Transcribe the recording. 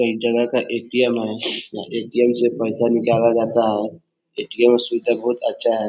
एक जगा का ए_टी_एम है | ए_टी_एम से पैसा निकला जाता है | ए_टी_एम सुबिधा बोहोत अच्छा है|